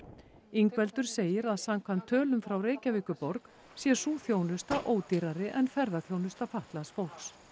Ingveldur segir að samkvæmt tölum frá Reykjavíkurborg sé sú þjónusta ódýrari en ferðaþjónusta fatlaðs fólks